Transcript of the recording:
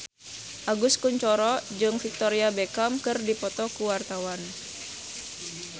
Agus Kuncoro jeung Victoria Beckham keur dipoto ku wartawan